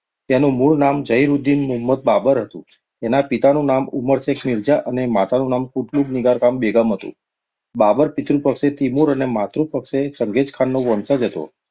તેનું મૂળ નામ ઝહીરુદીન મુહમ્મદ બાબર હતું. તેના પિતાનું નામ ઉમર શેખ મિર્ઝા અને માતાનું નામ કુતલુગ નિગારખાન બેગમ હતું. બાબર પિતૃ પક્ષેથી તીમુર અને માતૃ પક્ષેથીચંગેઝખાનનો વંશજ હતો.